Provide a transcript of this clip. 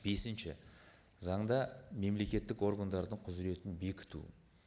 бесінші заңда мемлекеттік органдардың құзыретін бекіту